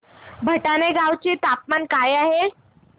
भटाणे गावाचे तापमान काय आहे